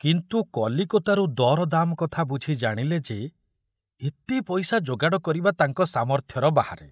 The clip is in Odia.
କିନ୍ତୁ କଲିକତାରୁ ଦରଦାମ କଥା ବୁଝି ଜାଣିଲେ ଯେ ଏତେ ପଇସା ଯୋଗାଡ଼ କରିବା ତାଙ୍କ ସାମର୍ଥ୍ୟର ବାହାରେ।